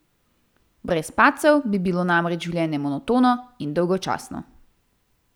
Brez padcev bi bilo namreč življenje monotono in dolgočasno.